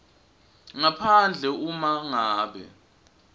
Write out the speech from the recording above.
ngaphandle uma ngabe